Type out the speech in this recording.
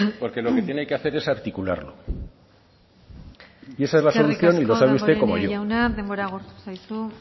porque lo que tiene que hacer es articularlo y esa es la solución y lo sabe usted como yo eskerrik asko damborenea jauna denbora agortu zaizu